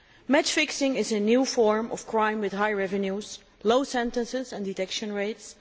Match fixing is a new form of crime with high revenues and low sentences and detection rates.